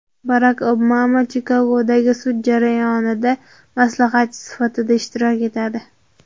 Barak Obama Chikagodagi sud jarayonida maslahatchi sifatida ishtirok etadi.